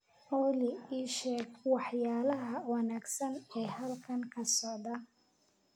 olly ii sheeg waxyaalaha wanaagsan ee halkan ka socda